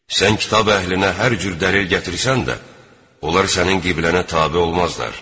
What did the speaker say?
Sən kitab əhlinə hər cür dəlil gətirsən də, onlar sənin qibləənə tabe olmazlar.